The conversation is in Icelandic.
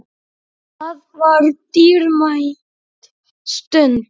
Það var dýrmæt stund.